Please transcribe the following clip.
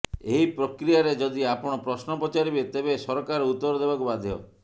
ଏହି ପ୍ରକ୍ରିୟାରେ ଯଦି ଆପଣ ପ୍ରଶ୍ନ ପଚାରିବେ ତେବେ ସରକାର ଉତ୍ତର ଦେବାକୁ ବାଧ୍ୟ